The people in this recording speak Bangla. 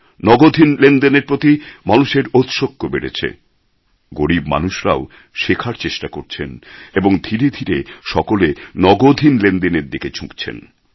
নগদহীন লেনদেনের প্রতি মানুষের ঔৎসুক্য বেড়েছে গরীব মানুষরাও শেখার চেষ্টা করছেন এবং ধীরে ধীরে সকলে নগদহীন লেনদেনের দিকে ঝুঁকছেন